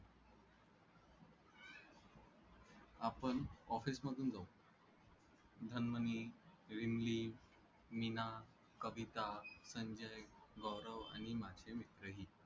आपण office मधून जाऊ मीना, कविता, संजय, गौरव आणि माझे मित्रही